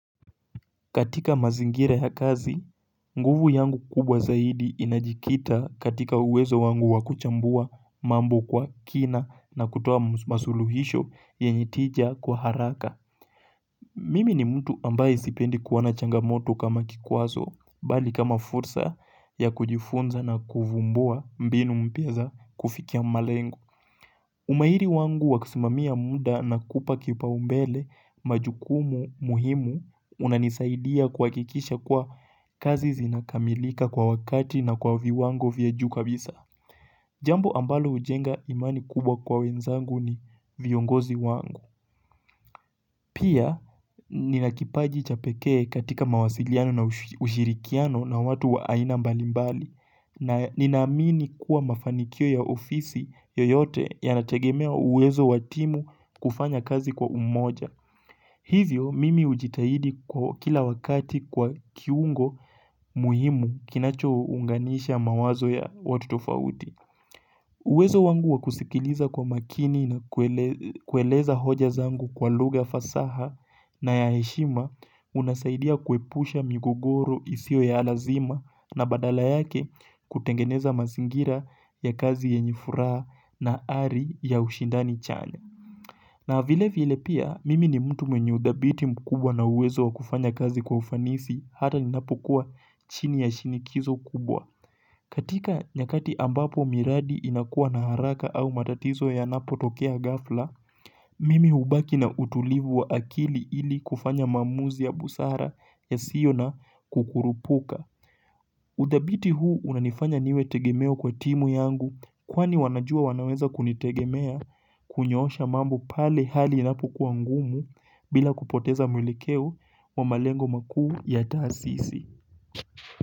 Katika mazingira ya kazi, nguvu yangu kubwa zaidi inajikita katika uwezo wangu wakuchambua mambo kwa kina na kutoa masuluhisho yenyetija kwa haraka. Mimi ni mtu ambaye sipendi kuona changamoto kama kikwazo, bali kama fursa ya kujifunza na kuvumbua mbinu mpyeza kufikia malengo. Umairi wangu waksimamia muda na kupa kipa umbele majukumu muhimu unanisaidia kuhakikisha kuwa kazi zinakamilika kwa wakati na kwa viwango vya juu kabisa. Jambo ambalo hujenga imani kubwa kwa wenzangu ni viongozi wangu. Pia ninakipaji cha pekee katika mawasiliano na ushirikiano na watu waaina mbalimbali na ninaamini kuwa mafanikio ya ofisi yoyote yanategemea uwezo wa timu kufanya kazi kwa umoja. Hivyo mimi ujitahidi kwa kila wakati kuwa kiungo muhimu kinacho unganisha mawazo ya watu tofauti. Uwezo wangu wakusikiliza kwa makini na kueleza hoja zangu kwa luga fasaha na ya heshima unasaidia kuepusha migogoro isio ya alazima na badala yake kutengeneza mazingira ya kazi yenyefuraa na ari ya ushindani chanya. Na vile vile pia mimi ni mtu mwenye udhabiti mkubwa na uwezo wa kufanya kazi kwa ufanisi hata ni napo kuwa chini ya shinikizo kubwa. Katika nyakati ambapo miradi inakua na haraka au matatizo ya napo tokea ghafla, mimi hubaki na utulivu wa akili ili kufanya mamuzi ya busara ya sio na kukurupuka. Udhabiti huu unanifanya niwe tegemeo kwa timu yangu kwani wanajua wanaweza kunitegemea kunyosha mambo pale hali inapo kuwa ngumu bila kupoteza mwelekeo wa malengo makuu ya taasisi.